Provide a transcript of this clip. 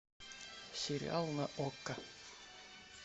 сериал на окко